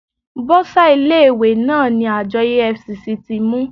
Bọ́sà ilé ìwé náà ni àjọ EFCC ti mú.